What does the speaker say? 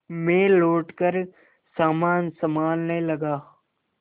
मैं लौटकर सामान सँभालने लगा